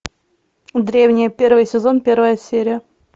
древние первый сезон первая серия